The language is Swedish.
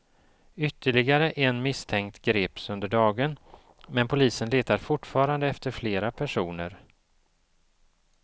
Ytterligare en misstänkt greps under dagen, men polisen letar fortfarande efter flera personer.